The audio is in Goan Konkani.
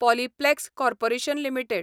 Polyplex corporation limited